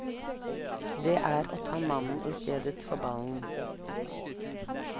Det er å ta mannen i stedet for ballen.